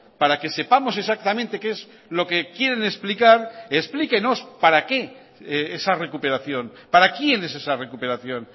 para que sepamos exactamente qué es lo que quieren explicar explíquenos para qué esa recuperación para quién es esa recuperación